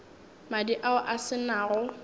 madi ao a se nago